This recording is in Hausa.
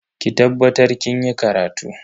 Ki tabbatar kinyi karatu.